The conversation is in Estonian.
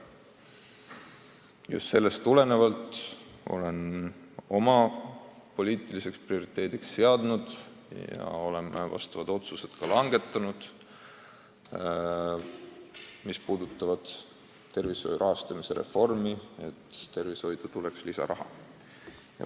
Just sellest tulenevalt olen oma poliitiliseks prioriteediks seadnud – ja oleme tervishoiu rahastamise reformi silmas pidades ka vastavad otsused langetanud –, et tervishoidu peab tulema lisaraha.